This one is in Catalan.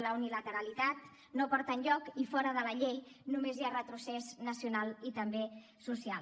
la unilateralitat no porta enlloc i fora de la llei només hi ha retrocés nacional i també social